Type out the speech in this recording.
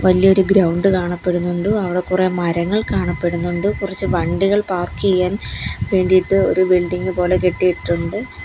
വലിയൊരു ഗ്രൗണ്ട് കാണപ്പെടുന്നുണ്ട് അവടെ കുറെ മരങ്ങൾ കാണപ്പെടുന്നുണ്ട് കുറച്ച് വണ്ടികൾ പാർക്ക് ചെയ്യാൻ വേണ്ടിയിട്ട് ഒരു ബിൽഡിംഗ് പോലെ കെട്ടിയിട്ടുണ്ട്.